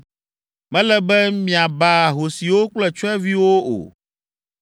“Mele be miaba ahosiwo kple tsyɔ̃eviwo o.